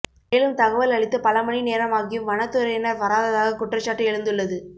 மேலும் தகவல் அளித்து பல மணி நேரமாகியும் வனத்துறையினர் வராததாக குற்றச்சாட்டு எழுந்துள்ளது